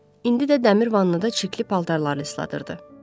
İndi də dəmir vannada çirkli paltarlarını isladırdı.